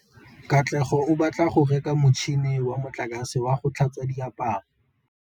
Katlego o batla go reka motšhine wa motlakase wa go tlhatswa diaparo.